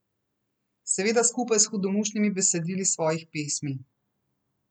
Seveda skupaj s hudomušnimi besedili svojih pesmi.